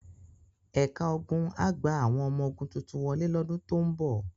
Ẹ̀ka ogun á gba àwọn ọmọ ogun tuntun wọlé lọ́dún tó ń bọ̀.